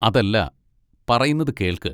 അതല്ല, പറയുന്നത് കേൾക്ക്.